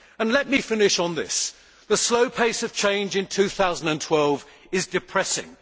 Let me finish by saying that the slow pace of change in 2012 is depressing.